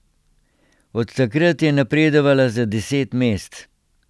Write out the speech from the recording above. Od takrat je napredovala za deset mest.